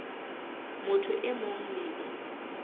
motho e mong le e